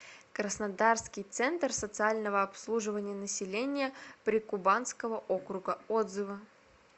краснодарский центр социального обслуживания населения прикубанского округа отзывы